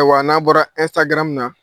Ayiwa n'an bɔra Instagram na